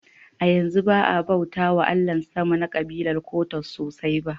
A yanzu ba a bauta wa Allahn sama na kabilar Kwottos sosai ba.